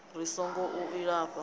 ri singo u a lifha